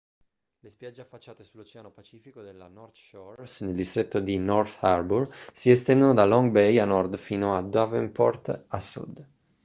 le spiagge affacciate sull'oceano pacifico della north shore nel distretto di north harbour si estendono da long bay a nord fino a devonport a sud